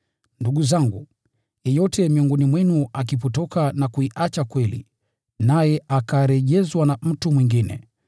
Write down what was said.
Ndugu zangu, yeyote miongoni mwenu akipotoka na kuicha kweli, naye akarejezwa na mtu mwingine,